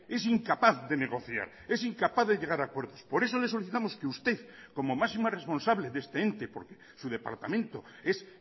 es incapaz de negociar es incapaz de llegar a acuerdos por eso le solicitamos que usted como máxima responsable de este ente porque su departamento es